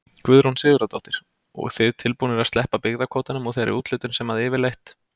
Guðrún Sigurðardóttir: Og þið tilbúnir að sleppa byggðakvótanum og þeirri úthlutun sem að yfirleitt?